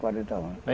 quarenta anos.